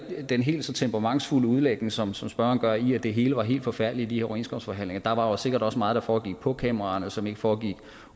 den helt så temperamentsfulde udlægning som som spørgeren har i at det hele var helt forfærdeligt i overenskomstforhandlinger der var sikkert også meget der foregik på kameraerne som ikke foregik